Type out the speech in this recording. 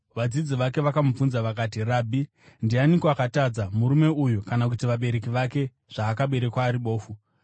Vadzidzi vake vakamubvunza vakati, “Rabhi, ndianiko akatadza, murume uyu kana kuti vabereki vake, zvaakaberekwa ari bofu?”